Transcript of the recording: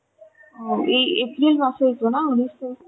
ও এই April মাসে ই তো না উনিশ তারিখে